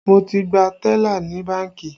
Mo ti gba tẹ́là ní bánkì